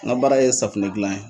N ka baara ye safunɛ gilan ye.